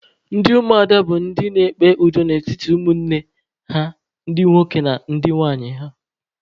Ndị ụmụada bụ ndị na-ekpe udo n'etiti ụmụnne ha ndị nwoke na ndị nwunye ha.